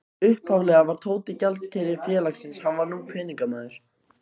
Upphaflega var Tóti gjaldkeri félagsins, hann var nú peningamaður.